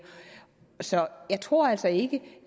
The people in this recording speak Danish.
så jeg tror altså ikke